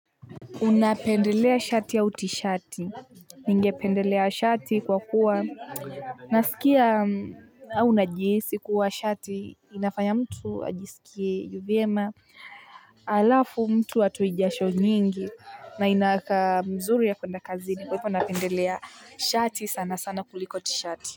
Unapendelea shati au tishati, ningependelea shati kwa kuwa nasikia au najihisi kuwa shati inafanya mtu ajisikie vyema. Alafu mtu hatoi jasho nyingi na inakaa mzuri ya kuenda kazini kwa hivyo napendelea shati sana sana kuliko tishati.